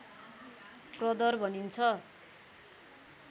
प्रदर भनिन्छ